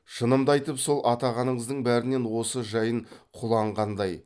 шынымды айтып сол атағаныңыздың бәрінен осы жайын құлан қандай